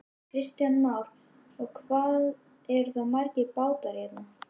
Kristján Már: Og hvað eru þá margir bátar hérna?